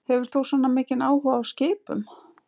Hefur þú svona mikinn áhuga á skipum?